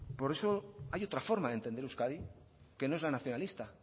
por eso hay otra forma de entender euskadi que no es la nacionalista